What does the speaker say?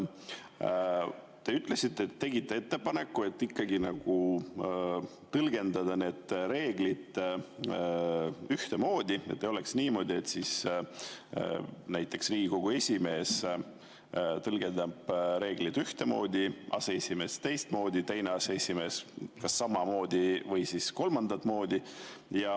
Te ütlesite, et te tegite ettepaneku, et neid reegleid tõlgendada ühtemoodi, et ei oleks niimoodi, et näiteks Riigikogu esimees tõlgendab reegleid ühtemoodi, aseesimees teistmoodi ja teine aseesimees kas samamoodi või kolmandat moodi.